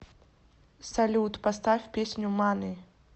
салют поставь песню мани